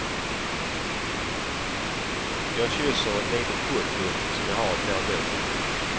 Jag kysser ett litet foto som jag har i plånboken.